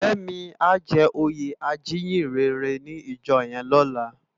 Femi á jè óyé ájiyinrèrè ni ijò yèn lòlá